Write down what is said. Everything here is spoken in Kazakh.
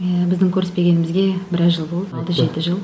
ііі біздің көріспегенімізге біраз жыл болды алты жеті жыл